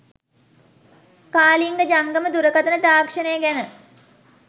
කාලිංග ජංගම දුරකථන තාක්ෂණය ගැන